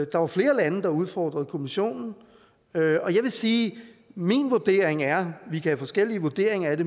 der var flere lande der udfordrede kommissionen jeg vil sige at min vurdering er vi kan have forskellige vurderinger af